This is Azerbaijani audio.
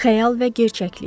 Xəyal və gerçəklik.